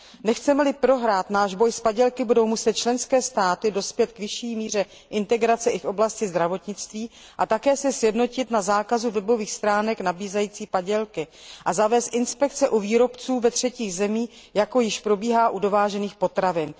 Nechceme li prohrát náš boj s padělky, budou muset členské státy dospět k vyšší míře integrace i v oblasti zdravotnictví, sjednotit se na zákazu webových stránek nabízejících padělky a zavést inspekce u výrobců ve třetích zemích, jako již probíhají u dovážených potravin.